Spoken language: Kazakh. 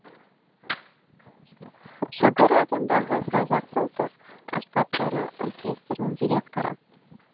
сүгір атындағы қазақ ұлттық аспаптары оркестрінің директоры